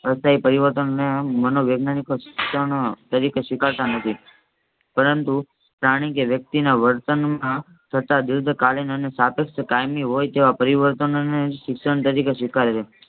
હૃદયપરિવર્તન અને આમ મનોવૈજ્ઞાનિક શિક્ષણ તરીકે સ્વીકારતા નથી પરંતુ પ્રાણી કે વ્યક્તિને વર્તનમાં તથા દીર્ઘકાલીન અને સાપેક્ષ કાયમી હોય તેવા પરિવર્તન અને શિક્ષણ તરીકે સ્વીકારે છે.